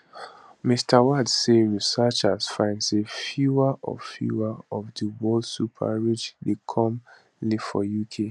mr watts say researchers find say fewer of fewer of di world super rich dey come live for uk